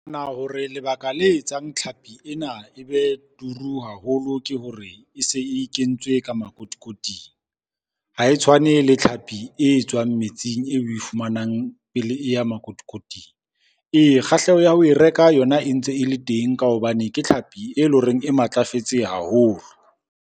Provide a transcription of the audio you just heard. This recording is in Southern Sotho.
Hore lebaka le etsang tlhapi ena e be turu haholo, ke hore e se e kentswe ka makotikoting. Ha e tshwane le tlhapi e tswang metsing eo oe fumanang pele e ya makotikoting. Ee, kgahleho ya ho e reka yona e ntse e le teng ka hobane ke tlhapi e le horeng e matlafetse haholo.